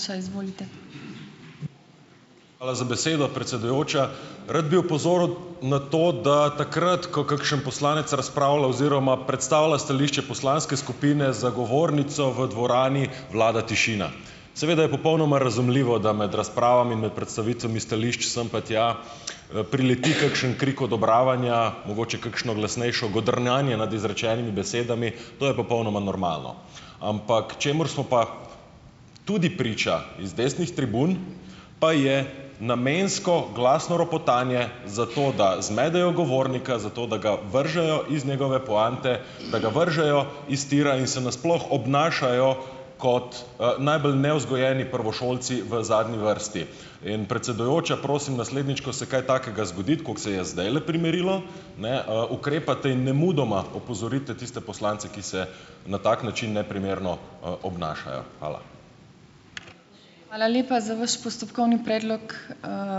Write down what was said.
Hvala za besedo, predsedujoča. Rad bi opozoril na to, da takrat, ko kakšen poslanec razpravlja oziroma predstavlja stališče poslanske skupine za govornico, v dvorani vlada tišina. Seveda je popolnoma razumljivo, da med razpravami in med predstavitvami stališč sem pa tja, prileti kakšen krik odobravanja, mogoče kakšno glasnejše godrnjanje nad izrečenimi besedami. To je popolnoma normalno. Ampak čemur smo pa tudi priča z desnih tribun, pa je namensko glasno ropotanje zato, da zmedejo govornika, zato, da ga vržejo iz njegove poante, da ga vržejo iz tira in se nasploh obnašajo kot, najbolj nevzgojeni prvošolci v zadnji vrsti. In, predsedujoča, prosim, naslednjič, ko se kaj takega zgodi, kot se je zdajle primerilo, ne, ukrepate in nemudoma opozorite tiste poslance, ki se na tak način neprimerno, obnašajo. Hvala.